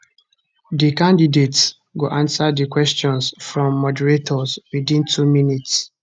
di candidates go answer di questions from moderators witin two minutes